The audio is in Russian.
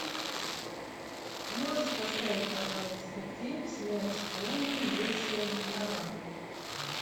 можешь поставить пожалуйста фильм смерть шпионам лисья нора